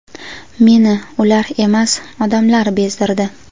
Meni ular emas, odamlar bezdirdi.